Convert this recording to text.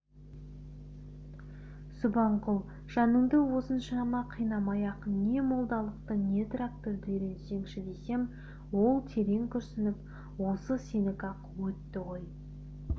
субанқұл жаныңды осыншама қинамай-ақ не молдалықты не тракторды үйренсеңші десем ол терең күрсініп осы сенікі-ақ өтті ғой